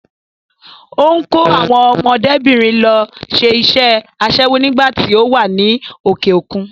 Ó ń kó àwọn ọmọdébìnrin lọ ṣe iṣẹ́ aṣẹ́wó nígbà tí ó wà ní òkè-òkun.